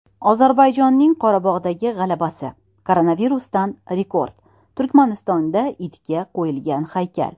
Ozarbayjonning Qorabog‘dagi g‘alabasi, koronavirusdan rekord, Turkmanistonda itga qo‘yilgan haykal.